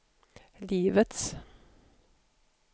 livets